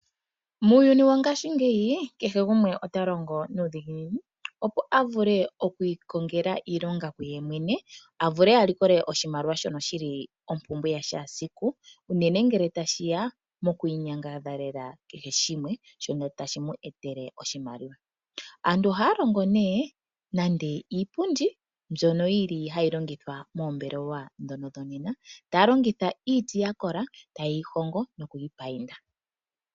Muuyuni wongaashinyeyi kehe gumwe ota longo nuudhiginini opo a vule oku ikongela iilonga ku yemwene, a vule a likole oshimaliwa shono shili ompumbwe ya kehe esiku, unene ngele tashi ya moku inyangadhalela kehe shimwe shono tashi mu etele oshimaliwa. Aantu ohaya longo nee nande iipundi mbyono yili hayi longithwa moombelewa ndhono dhonena, taya longitha iiti ya kola , taye yi hongo noku yi painda.